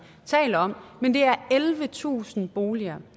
taler om men det er ellevetusind boliger